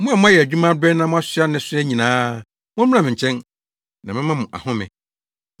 “Mo a moayɛ adwuma abrɛ na moasoa nnesoa nyinaa, mommra me nkyɛn, na mɛma mo ahome.